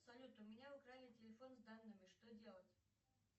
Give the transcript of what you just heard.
салют у меня украли телефон с данными что делать